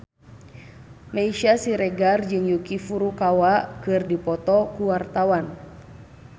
Meisya Siregar jeung Yuki Furukawa keur dipoto ku wartawan